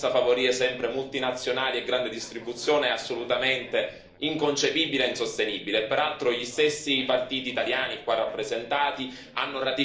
Ecco, questa globalizzazione a tutti i costi, questo volere per forza favorire sempre multinazionali e grande distribuzione è assolutamente inconcepibile e insostenibile.